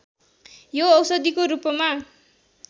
यो औषधिको रूपमा